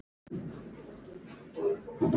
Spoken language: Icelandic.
Hún stökk fram í gang.